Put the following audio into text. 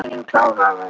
Þín Klara Rut.